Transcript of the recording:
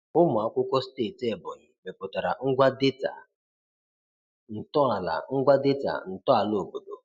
Ụmụ akwụkwọ steeti Ebonyi mepụtara ngwa data ntọala ngwa data ntọala obodo.